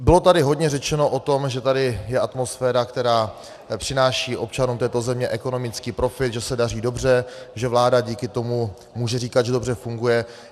Bylo tady hodně řečeno o tom, že tady je atmosféra, která přináší občanům této země ekonomický profit, že se daří dobře, že vláda díky tomu může říkat, že dobře funguje.